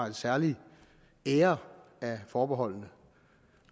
en særlig ære af forbeholdene